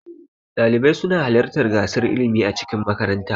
Ɗalibai suna halarta gasar ilmi a cikin makaranta.